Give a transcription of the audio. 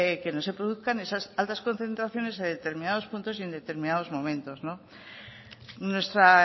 que no se produzcan esas altas concentraciones en determinados puntos y en determinados momentos nuestra